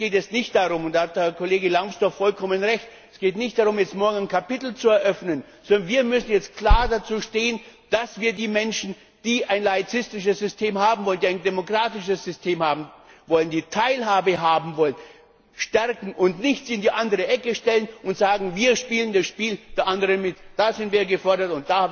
Es geht jetzt nicht darum da hat Kollege Lambsdorff vollkommen recht morgen ein Kapitel zu eröffnen, sondern wir müssen jetzt klar dazu stehen, dass wir die Menschen, die ein laizistisches System haben wollen, die ein demokratisches System haben wollen, die Teilhabe haben wollen, stärken und sie nicht in die andere Ecke stellen und sagen Wir spielen das Spiel der anderen mit. Da sind wir gefordert.